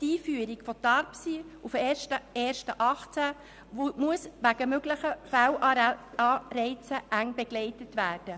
Die Einführung von TARPSY auf den 1. Januar 2018 muss wegen möglichen Fehlanreizen eng begleitet werden.